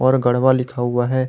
पर गढ़वा लिखा हुआ है।